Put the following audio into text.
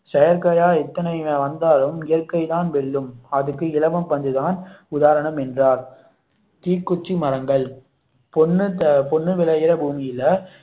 செயற்கையாய் எத்தனை வந்தாலும் இயற்கை தான் வெல்லும் அதற்கு இலவம் பஞ்சு தான் உதாரணம் என்றார் தீக்குச்சி மரங்கள் பொன்னு பொன்னு விளையுற பூமியில